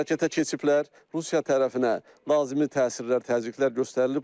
Hərəkətə keçiblər, Rusiya tərəfinə lazımi təsirlər, təzyiqlər göstərilib.